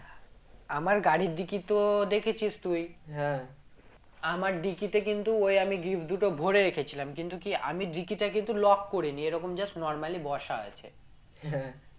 আমার গাড়ির dickey তো দেখেছিস তুই হ্যাঁ আমার dickey তে কিন্তু ওই আমি gift দুটো ভোরে রেখেছিলাম কিন্তু কি আমি dickey টা কিন্তু lock করিনি এরকম just normally বসা আছে হ্যাঁ